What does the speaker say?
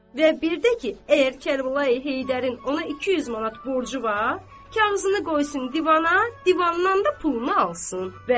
Və bir də ki, əgər Kərbəlayı Heydərin ona 200 manat borcu var, kağızını qoysun divana, divandan da pulunu alsın.